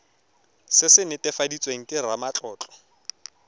se se netefaditsweng ke ramatlotlo